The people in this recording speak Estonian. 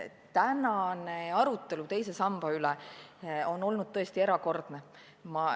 Tänane arutelu teise samba üle on olnud tõesti erakordne.